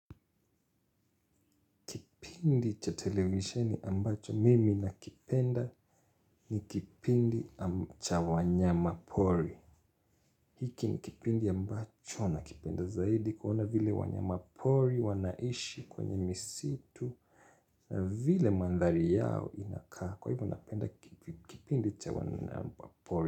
Kipindi cha televisheni ambacho mimi nakipenda ni kipindi cha wanyama pori. Hiki ni kipindi ambacho nakipenda zaidi kuona vile wanyamapori wanaishi kwenye misitu na vile mandhari yao inakaa. Kwa hivyo napenda kipindi cha wanyama pori.